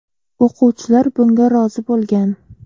O‘quvchilar bunga rozi bo‘lgan.